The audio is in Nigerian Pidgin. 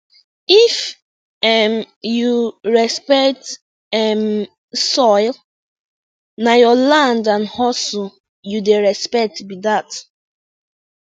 if um you respect um soil na your land and hustle you dey respect be dat